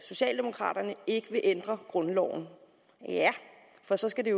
socialdemokraterne ikke vil ændre grundloven ja for så skal det